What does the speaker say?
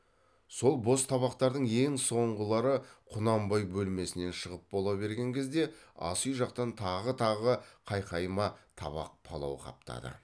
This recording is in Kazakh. сол бос табақтардың ең соңғылары құнанбай бөлмесінен шығып бола берген кезде асүй жақтан тағы тағы қайқайма табақ палау қаптады